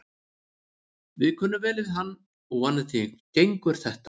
Við kunnum vel við hann og vonandi gengur þetta.